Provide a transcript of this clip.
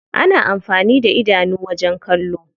Ana amfani da idanu wajen kallo.